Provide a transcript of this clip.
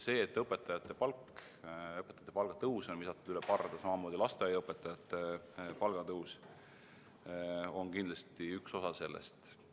See, et õpetajate palga tõus on visatud üle parda, samamoodi lasteaiaõpetajate palga tõus, on kindlasti üks osa sellest.